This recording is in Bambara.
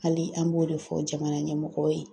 Hali an b'o de fɔ jamana ɲɛmɔgɔw ye